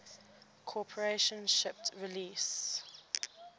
corporation shipped release